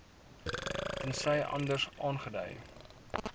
tensy anders aangedui